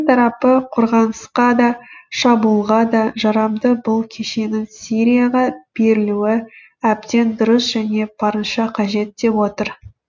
тарапы қорғанысқа да шабуылға да жарамды бұл кешеннің сирияға берілуі әбден дұрыс және барынша қажет деп отыр